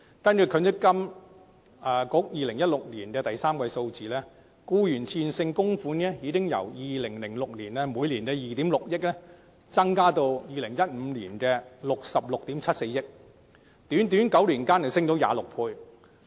根據積金局2016年第三季的數字，僱員的自願性供款額已由2006年的2億 6,000 萬元增加至2015年的66億 7,400 萬元，在短短9年間增加了26倍。